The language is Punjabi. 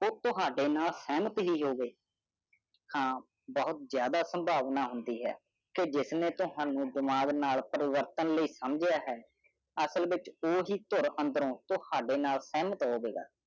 ਖੁਦ ਤੁਹਾਦੀ ਨਾਨਕ ਹੱਥ ਪਰੀ ਹੋਇ ਹਾਨ ਕੇ ਜ਼ਿਆਦਾ ਪਾਂਡਾ ਹੋਨਾ ਹਾਂਡੀ ਕਉ ਜਿਸਨਿ ਤੁਹਾਨੁ ਬੇਮਰ ਨਾਲਿ ਪਰਵਤਨ ਨਾਲਿ ਸੰਜਹਾ ਹੇ ॥ ਆਸਲ ਵੀ ਹੀ ਤੁਹਾਦੀ ਨਾਲ ਮੈਂ ਹੀ ਹੋਆ ਗਾ